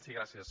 sí gràcies